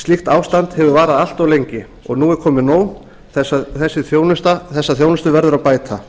slíkt ástand hefur varað allt of lengi og nú er komið nóg þessa þjónustu verður að bæta